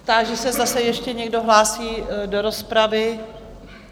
Táži se, zda se ještě někdo hlásí do rozpravy?